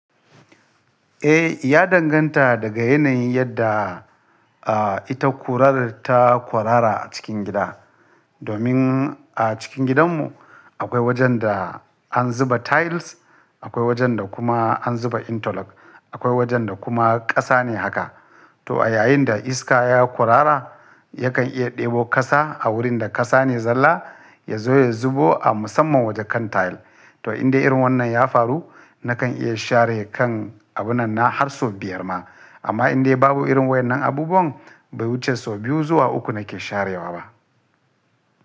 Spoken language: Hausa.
Eh, ya danganta daga yanayin yadda, a, ita kurar ta kurara a cikin gida. Domin a cikin gidanmu akwai wajen da an zuba tiles, akwai wajen da kuma an zuba interlock, akwai wajen da kuma ƙasa ne haka. To a yayin da iska ya kwarara yakan iya ɗebo ƙasa a wurin da ƙasa ne zalla ya zo ya zubo a musamman waje kan tile. To in dai irin wannan ya faru nakan iya share kan abunanna har sau biyar ma. Amma in dai babu irin wa'yannan abubuwan bai wuce sau biyu zuwa uku nake sharewa ba.